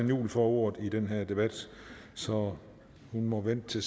juhl får ordet i den her debat så vi må vente